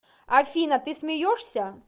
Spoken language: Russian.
афина ты смеешься